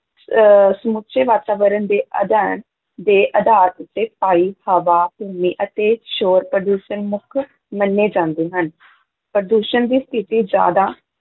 ਅਹ ਸਮੁੱਚੇ ਵਾਤਾਵਰਨ ਦੇ ਅਧਿਐਨ ਦੇ ਆਧਾਰ ਉੱਤੇ ਪਾਈ, ਹਵਾ, ਭੂਮੀ ਅਤੇ ਸ਼ੋਰ-ਪ੍ਰਦੂਸ਼ਣ ਮੁੱਖ ਮੰਨੇ ਜਾਂਦੇ ਹਨ ਪ੍ਰਦੂਸ਼ਣ ਦੀ ਸਥਿਤੀ ਜ਼ਿਆਦਾ